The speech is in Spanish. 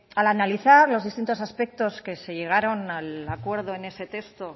al analizar los distintos aspectos que se llegaron al acuerdo en ese texto